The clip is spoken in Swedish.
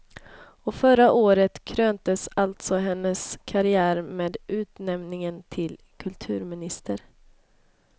Och förra året kröntes alltså hennes karriär med utnämningen till kulturminister.